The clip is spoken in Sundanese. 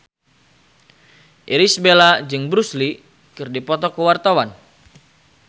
Irish Bella jeung Bruce Lee keur dipoto ku wartawan